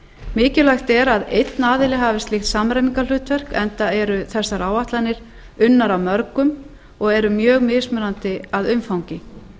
mikilvægt er að einn aðili hafi slíkt samræmingarhlutverk enda eru þessar áætlanir unnar af mörgum og eru mjög mismunandi að umfangi